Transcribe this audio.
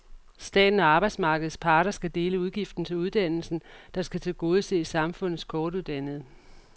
Staten og arbejdsmarkedets parter skal dele udgiften til uddannelsen, der skal tilgodese samfundets kortuddannede.